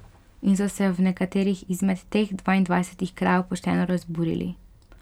In so se v nekaterih izmed teh dvaindvajsetih krajev pošteno razburili.